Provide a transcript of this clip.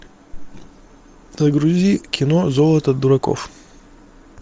загрузи кино золото дураков